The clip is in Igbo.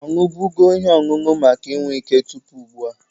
Ọ ṅụbụgo ihe ọṅụṅụ maka inwe ike tupu ụgbụa?